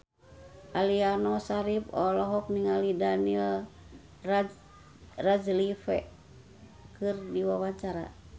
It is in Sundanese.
Aliando Syarif olohok ningali Daniel Radcliffe keur diwawancara